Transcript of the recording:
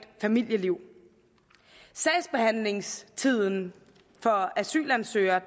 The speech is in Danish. familieliv sagsbehandlingstiden for asylansøgere